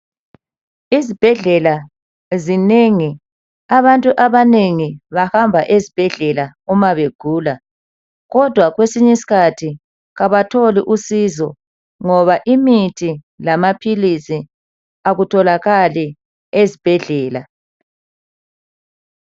Izibhedlela zinengi abantu abanengi bahamba ezibhedlela uma begula kodwa kwesinye isikhathi kabatholi usizo ngoba imithi lamaphilisi akutholakali ezibhedlela.